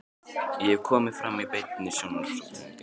Ég hef komið fram í beinni sjónvarpsútsendingu.